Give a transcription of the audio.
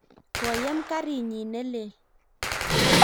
koyem karit nyin ne lel